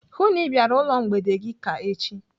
Hụụ na Ị bịara ụlọ mgbede gị ka echi!